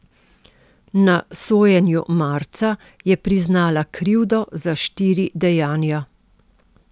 Na sojenju marca je priznala krivdo za štiri dejanja.